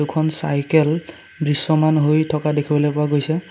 দুখন চাইকেল দৃশ্যমান হৈ থকা দেখিবলৈ পোৱা গৈছে।